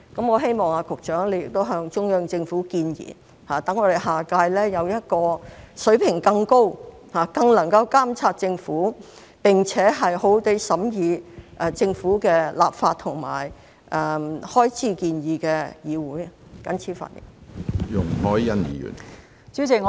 我希望局長向中央政府建議，讓我們下屆有一個水平更高，更能夠監察政府，並且好好地審議政府的立法和開支建議的議會，謹此發言。